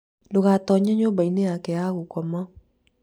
ndũgatonye nyũmba-inĩ yake ya gũkoma